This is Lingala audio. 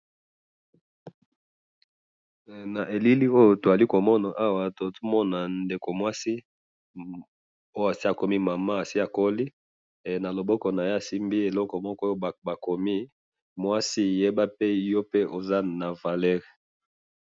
Awa na moni maman moko akoli asimbi mokanda ya kolakisa ke basi bazali na valeur.